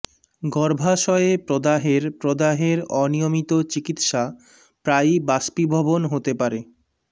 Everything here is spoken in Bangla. গর্ভাশয়ে প্রদাহের প্রদাহের অনিয়মিত চিকিত্সা প্রায়ই বাষ্পীভবন হতে পারে